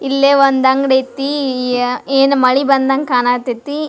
ಎಲ್ಲೇ ಒಂದ್ ಅಂಗ್ಡಿಐತಿ ಈ ಯಾ ಏನ್ ಮಳೆ ಬಂದಾಗ ಕಾಣತೈತಿ.